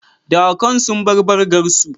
Dawakan sun bar bargarsu.